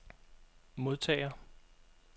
modtager